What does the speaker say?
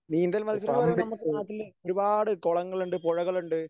നീന്തൽ മത്സരം എന്നു പറയുമ്പോൾ നമ്മൾക്ക് നാട്ടിൽ ഒരുപാട് കുളങ്ങളുണ്ട് പുഴകളുണ്ട്